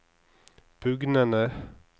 bugnende